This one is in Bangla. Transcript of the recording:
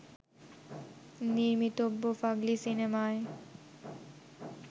নির্মিতব্য ফাগলি সিনেমায়